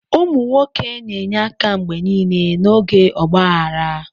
Ụmụ nwoke na-enye aka mgbe niile n'oge ọgba aghara.